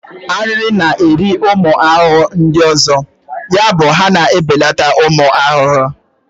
ariri na-eri ụmụ ahụhụ ndị ọzọ, yabụ ha na ebeleta ụmụ ahụhụ.